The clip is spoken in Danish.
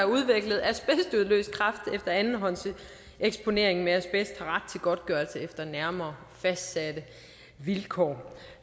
udviklet asbestudløst kræft efter andenhåndseksponering med asbest har ret godtgørelse efter nærmere fastsatte vilkår